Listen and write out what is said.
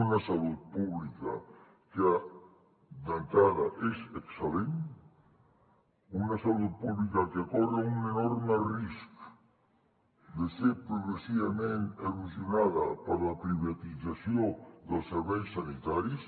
una salut pública que d’entrada és excel·lent una salut pública que corre un enorme risc de ser progressivament erosionada per la privatització dels serveis sanitaris